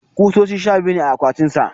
kusoshi sha biyu ne a akwatin sa